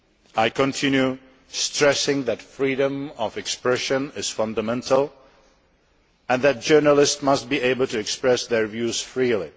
I continue stressing that freedom of expression is fundamental and that journalists must be able to express their views freely.